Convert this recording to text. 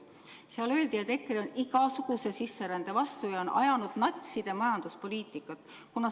Seal öeldi, et EKRE on igasuguse sisserände vastu ja on ajanud natside majanduspoliitikat.